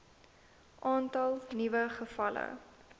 aantal nuwe gevalle